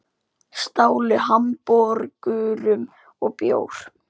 Stálu hamborgurum og bjór